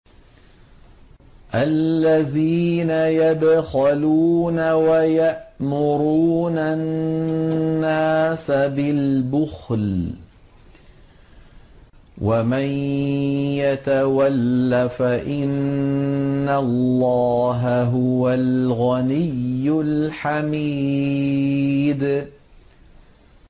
الَّذِينَ يَبْخَلُونَ وَيَأْمُرُونَ النَّاسَ بِالْبُخْلِ ۗ وَمَن يَتَوَلَّ فَإِنَّ اللَّهَ هُوَ الْغَنِيُّ الْحَمِيدُ